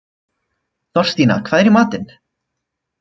Þorstína, hvað er í matinn?